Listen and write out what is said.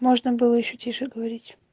можно было ещё тише говорить